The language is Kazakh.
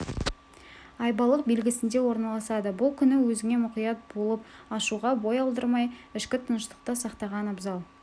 ай балық белгісінде орналасады бұл күні өзіңе мұқият болып ашуға бой алдырмай ішкі тыныштықты сақтаған абзал